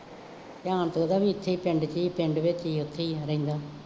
ਧਿਆਨ ਤਾਂ ਉਹਦਾ ਵੀ ਇੱਥੇ ਹੀ ਪਿੰਡ ਚ ਸੀ ਪਿੰਡ ਵਿੱਚ ਹੀ ਉੱਥੇ ਹੀ ਹੋਏਗਾ